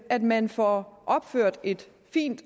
at man får opført et fint